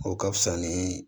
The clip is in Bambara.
O ka fisa ni